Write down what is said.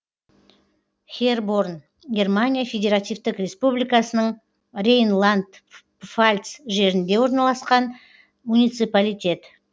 херборн германия федеративтік республикасының рейнланд пфальц жерінде орналасқан муниципалитет